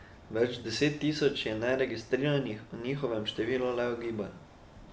Več deset tisoč je neregistriranih, o njihovem številu le ugibajo.